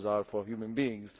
Borders are for human beings.